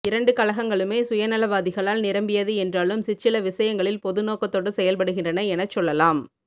இரண்டு கழகங்களுமே சுயநலவாதிகளால் நிறம்பியது என்றாலும் சிற்சில விஷயங்களில் பொது நோக்கத்தோடு செயல்படுகின்றன எனச்சொல்லலாம்